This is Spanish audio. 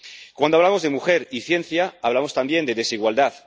Cuando hablamos de mujer y ciencia, hablamos también de desigualdad.